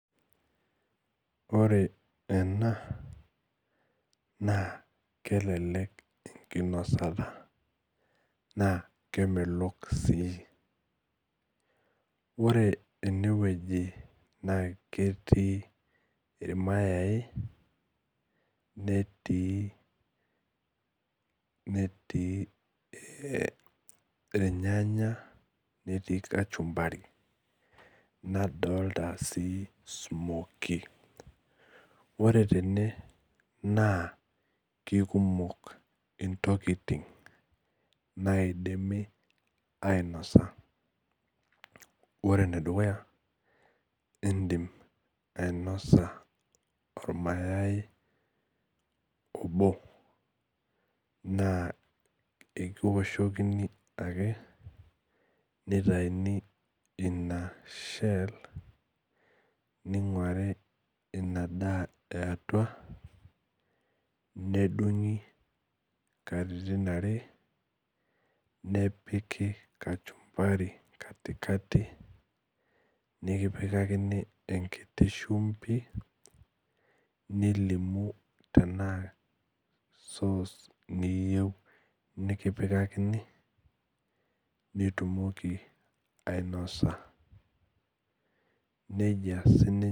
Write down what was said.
Ore ena na kelelek enkinosata na kemelok sii ore enewueji na ketii irmayai netii irnyanya netii kachunbari nadolta si smokie ore tene na kekumok ntokitin naidimi ainosa ore enedukuya indim ainosa ormayai obo n aekiwoahokini ake nitauni ina shel ninguari inasaa eatua nedungu katitin are nepiki kachunbari katikati nekipikakini enkitibshumbi nilimu nikipikakini nitumokibainosa nejia sininye.